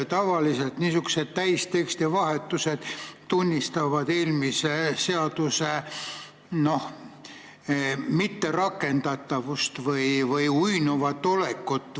Tavaliselt niisugused täisteksti vahetused tunnistavad eelmise seaduse mitterakendatavust või uinuvat olekut.